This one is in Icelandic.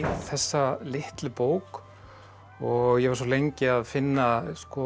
þessa litlu bók og ég var svo lengi að finna